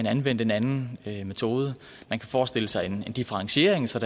anvendt en anden metode man kan forestille sig en differentiering så